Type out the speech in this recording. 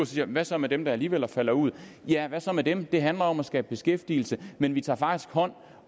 siger hvad så med dem der alligevel falder ud ja hvad så med dem det handler om at skabe beskæftigelse men vi tager faktisk hånd